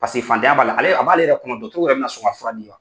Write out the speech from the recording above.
Paseke fantanya b'a la ale a b'ale yɛrɛ kun na dɔtɔrɔw yɛrɛ bɛ na sɔn ka fura di wa.